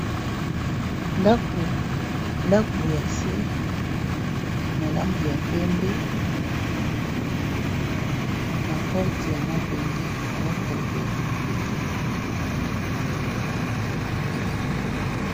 Ndaku ya se na langi ya pembe na porte ya mabende fenetre pe ya mabende.